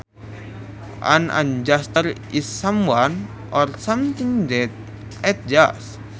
An adjustor is someone or something that adjusts